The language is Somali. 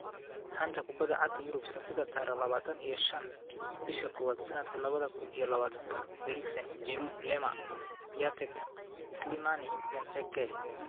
Xanta Kubadda Cagta Yurub Sabtida tariq labatan iyo shaan bisha kowad sanadka labada kun iyo labatanka Eriksen, Giroud, Lemar, Piatek, Slimani, Benteke